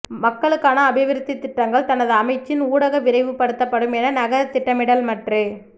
மக்களுக்கான அபிவிருத்தித் திட்டங்கள் தனது அமைச்சின் ஊடாக விரைவுபடுத்தப்படும் என நகர திட்டமிடல் மற்று